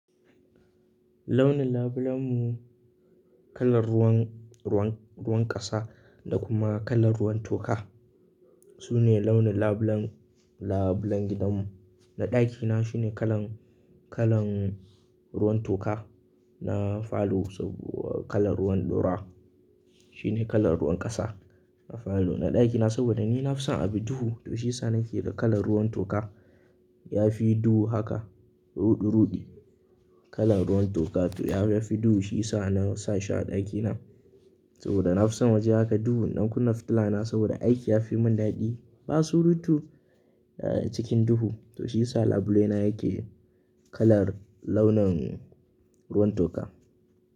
Launin labulen mu kalar ruwan, ruwan, ruwan ƙasa da kuma kalar ruwan toka. Su ne launin labulen, labulen gidan mu. Na ɗakina shine kalan, kalan ruwan toka. Na falo saboda kalar ruwan ɗura shine kalar ruwan ƙasa. Na falo na ɗakina saboda ni na fi son a bi duhu. To shiyasa nake da kalar ruwan toka. Ya fi duhu haka ruɗu ruɗu kalar ruwan toka. To ya fi duhu shiyasa na sa shi a ɗakina saboda na fi son waje haka duhu. Ɗan kunne fitila na saboda aiki ya fi mun daɗi. Ba su rutu eh cikin duhu. To shiyasa labule na yake kalar launin ruwan toka.